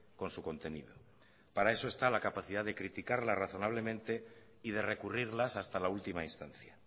con su contenido para eso está la capacidad de criticarla razonablemente y de recurrirlas hasta la última instancia